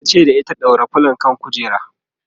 tace da ita"ɗaura filo kan kujera!"